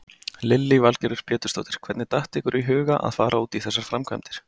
Lillý Valgerður Pétursdóttir: Hvernig datt ykkur í huga að fara út í þessar framkvæmdir?